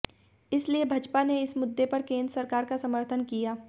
इसीलिए बसपा ने इस मुद्दे पर केंद्र सरकार का समर्थन किया